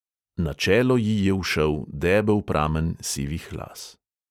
Na čelo ji je ušel debel pramen sivih las.